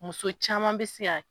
Muso caman bɛ se yan.